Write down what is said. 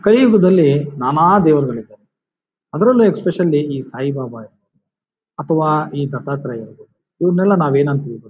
ಕಲಿಯುಗದಲ್ಲಿ ನಾನಾ ದೇವಗಾಳಿದ್ದಾರೆ ಅದ್ರಲ್ಲಿ ಎಸ್ಪೇಸಿಯಲ್ಲ್ಯ್ ಸಾಯಿಬಾಬಾ ಅಥವಾ ಈ ದತ್ತಾತ್ರೇಯರು ಇವರ್ನೆಲ್ಲ ನಾವು ಏನಂತಿವಿ ಗೊತ್--